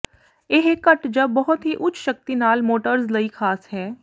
ਇਹ ਘੱਟ ਜ ਬਹੁਤ ਹੀ ਉੱਚ ਸ਼ਕਤੀ ਨਾਲ ਮੋਟਰਜ਼ ਲਈ ਖਾਸ ਹੈ